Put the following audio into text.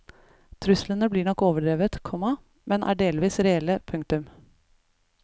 Truslene blir nok overdrevet, komma men er delvis reelle. punktum